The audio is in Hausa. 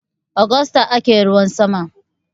Agusta ake ruwan sama.